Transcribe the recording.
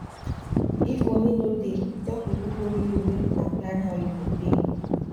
if money no dey talk with who borrow you make una plan how you go pay